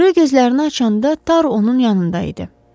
Rö gözlərini açanda Tar onun yanında idi.